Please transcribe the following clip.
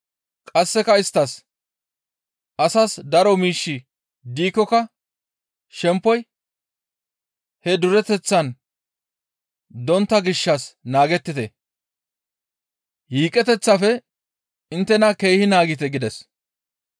Qasseka isttas, «Asas daro miishshi diikkoka shemppoy he dureteththan dontta gishshas naagettite; yiiqeteththafe inttena keehi naagite» gides.